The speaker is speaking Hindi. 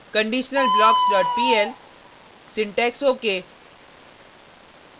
conditionalblockspl syntax ok